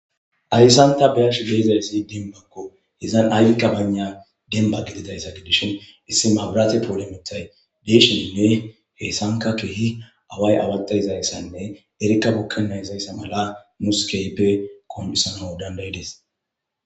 ayssanta beyash beezayssi denbakko hizan aykka banda demba gididayssa gidishin issi maabaraati poolimitay beeshinnne heessanka kiihi away awata izayssanne erikka bukkenna izayssa mala muskeyppe kom7issana dandayides